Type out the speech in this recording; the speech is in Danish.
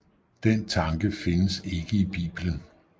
Den tanke findes ikke i Bibelen